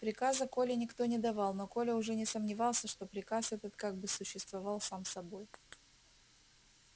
приказа коле никто не давал но коля уже не сомневался что приказ этот как бы существовал сам собой